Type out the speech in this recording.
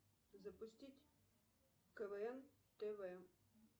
запустить квн тв